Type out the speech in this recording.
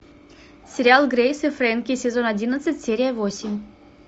сериал грейс и фрэнки сезон одиннадцать серия восемь